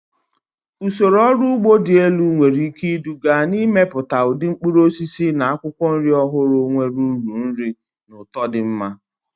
Usoro ọrụ ugbo dị elu nwere ike iduga n'ịmepụta ụdị mkpụrụ osisi na akwụkwọ nri ọhụrụ nwere uru nri na ụtọ dị mma.